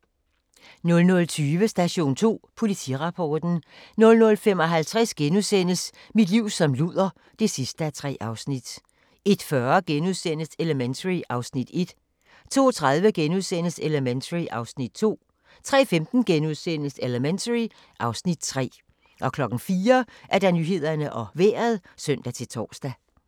00:20: Station 2: Politirapporten 00:55: Mit liv som luder (3:3)* 01:40: Elementary (Afs. 1)* 02:30: Elementary (Afs. 2)* 03:15: Elementary (Afs. 3)* 04:00: Nyhederne og Vejret (søn-tor)